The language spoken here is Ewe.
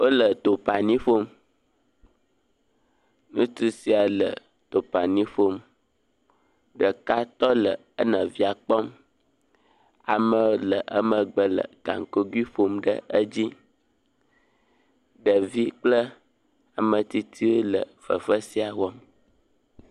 Wole tumpani ƒom, ŋutsu sia le tumpanin ƒom, ɖeka tɔ le enɔvia kpɔm, amewo le emegbe le gakogui ƒom ɖe edzi, ɖevi kple ametsitsi le fefe sia wɔm.